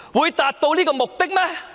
可達到目的嗎？